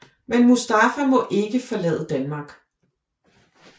Men Mustafa må ikke forlade Danmark